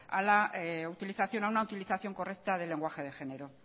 a una utilización correcta del lenguaje de género